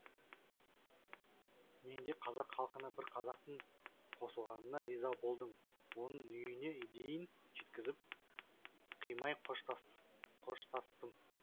мен де қазақ халқына бір қазақтың қосылғанына риза болдым оны үйіне дейін жеткізіп қимай қоштастым